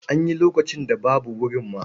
An yi lokacin da babu wurin ma.